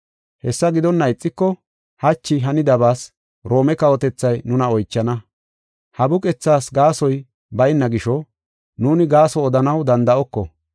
Hessa gidonna ixiko hachi hanidabaas Roome kawotethay nuna oychana. Ha buqethaas gaasoy bayna gisho, nuuni gaaso odanaw danda7oko”